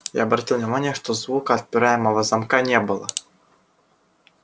я обратил внимание что звука отпираемого замка не было